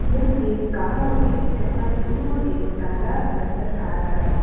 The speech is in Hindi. यहां एक गांव है जहां दूर एक तालाब नजर आ रहा है।